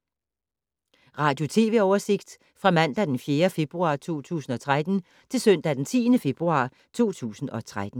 Radio/TV oversigt fra mandag d. 4. februar 2013 til søndag d. 10. februar 2013